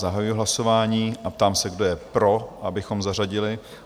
Zahajuji hlasování a ptám se, kdo je pro, abychom zařadili?